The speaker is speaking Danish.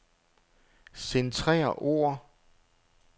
Centrer ord.